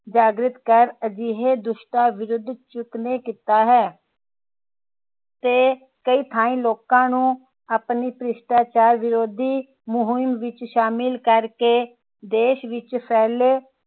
ਜਾਗ੍ਰਿਤ ਕੇ ਅਜਿਹੇ ਦੁਸਟਾਂ ਵਿਰੁੱਧ ਚੁੱਕਣੇ ਕੀਤਾ ਹੈ ਤੇ ਲੋਕਾਂ ਨੂੰ ਆਪਣੀ ਭ੍ਰਿਸ਼ਟਾਚਾਰ ਵਿਰੋਧੀ ਮੁਹਿੰਮ ਵਿਚ ਸ਼ਾਮਿਲ ਕਰ ਕੇ ਦੇਸ਼ ਵਿਚ ਫੈਲੇ